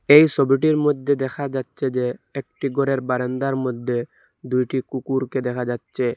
এই সবিটির মইধ্যে দেখা যাচ্চে যে একটি গরের বারান্দার মদ্যে দুইটি কুকুরকে দেখা যাচ্চে ।